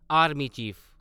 army chief